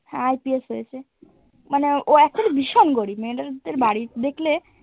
হ্যাঁ IPS হয়েছে মানে ও actually ভীষণ গরিব মেয়রদের বাড়ি দেখলে